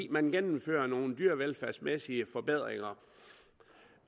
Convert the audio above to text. man gennemfører nogle dyrevelfærdsmæssige forbedringer